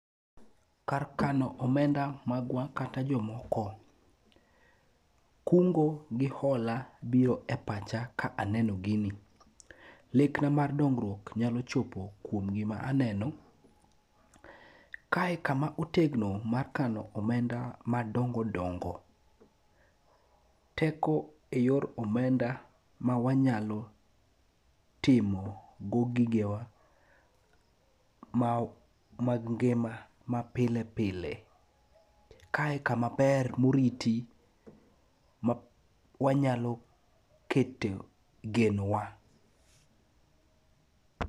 Kar kano omenda magwa kata jomoko. Kungo gi hola biro e pacha ka aneno gini. Lekna mar dongruok nyalo chopo kuom gima aneno. Kae kama otegno makano omenda madongo dongo, teko e yor omenda ma wanyalo timo go gigewa, mag ngima mapile pile, kae kamaber moriti ma wanyalo kete genowa .